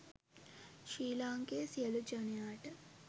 ශ්‍රී ලාංකේය සියලු ජනයාට